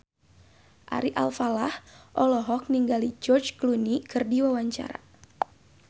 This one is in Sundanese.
Ari Alfalah olohok ningali George Clooney keur diwawancara